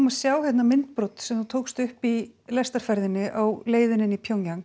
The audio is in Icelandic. að sjá hérna myndbrot sem þú tókst upp í lestarferðinni á leiðinni inn í